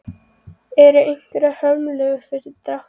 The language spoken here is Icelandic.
Eru einhverjar hömlur fyrir dráttinn?